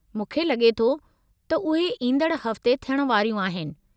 मूंखे लगे॒ थो त उहे ईंदड़ु हफ़्ते थियणु वारियूं आहिनि।